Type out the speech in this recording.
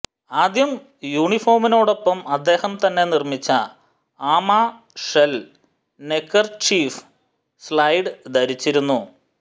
ആദ്യം യൂണിഫോമിനോടൊപ്പം അദ്ദേഹം തന്നെ നിർമ്മിച്ച ആമ ഷെൽ നെക്കെർചീഫ് സ്ലൈഡ് ധരിച്ചിരുന്നു